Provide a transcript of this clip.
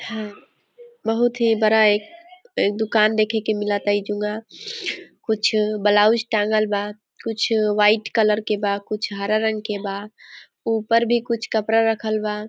है बहुत ही बरा एक एक दुकान देखे के मिला कुछ ब्लाउज टांगल बा कुछ वाइट कलर के बा कुछ हरे रंग के बा ऊपर भी कुछ कपड़ा रखल बा।